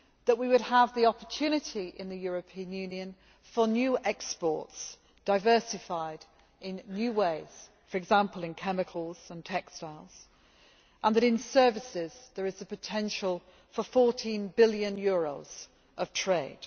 we would have the opportunity in the European Union for new exports, diversified in new ways for example, in chemicals and textiles and in services there is a potential for EUR 14 billion of trade.